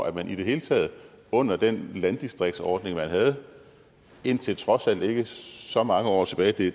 at man i det hele taget under den landdistriktsordning man havde indtil trods alt ikke så mange år tilbage